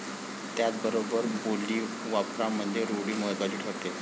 त्याचबरोबर बोलीवापरामध्ये रूढी महत्वाची ठरते.